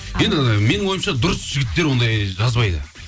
енді менің ойымша дұрыс жігіттер ондай жазбайды